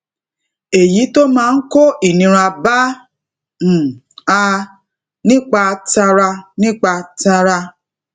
èyí tó máa kó ìnira bá um a um nípa tara nípa tara